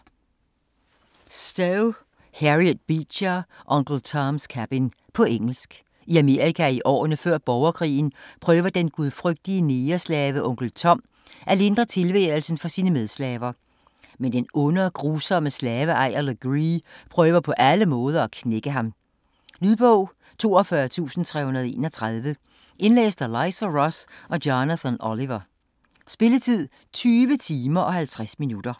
Stowe, Harriet Beecher: Uncle Tom's cabin På engelsk. I Amerika i årene før borgerkrigen prøver den gudfrygtige negerslave onkel Tom at lindre tilværelsen for sine medslaver. Men den onde og grusomme slaveejer Legree prøver på alle måder at knække ham. Lydbog 42331 Indlæst af Liza Ross og Jonathan Oliver Spilletid: 20 timer, 50 minutter.